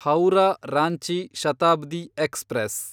Howrah Ranchi Shatabdi express